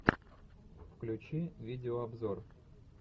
включи видеообзор